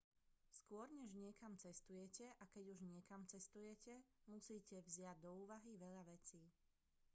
skôr než niekam cestujete a keď už niekam cestujete musíte vziať do úvahy veľa vecí